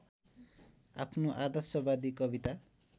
आफ्नो आदर्शवादी कविता